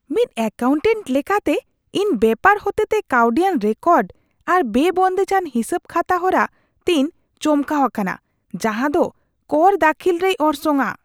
ᱢᱤᱫ ᱮᱠᱟᱣᱩᱱᱴᱮᱱᱴ ᱞᱮᱠᱟᱛᱮ, ᱤᱧ ᱵᱮᱯᱟᱨ ᱦᱚᱛᱮᱛᱮ ᱠᱟᱣᱰᱤᱭᱟᱱ ᱨᱮᱠᱚᱨᱰ ᱟᱨ ᱵᱮᱼᱵᱚᱱᱫᱮᱡᱟᱱ ᱦᱤᱥᱟᱹᱵᱼᱠᱷᱟᱛᱟ ᱦᱚᱨᱟ ᱛᱮᱧ ᱪᱚᱢᱠᱟᱣ ᱟᱠᱟᱱᱟ ᱡᱟᱦᱟᱸᱫᱚ ᱠᱚᱨ ᱫᱟᱹᱠᱷᱤᱞ ᱨᱮᱭ ᱚᱨᱥᱚᱝᱼᱟ ᱾